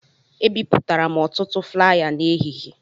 Ebipụtara m ọtụtụ flaya n'ehihie